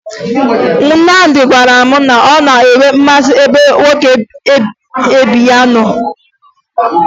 Nnamdị gwara m na ọ na-enwe mmasị ebe nwoke ibe ya nọ